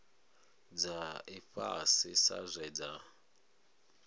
dza ifhasi sa zwe dza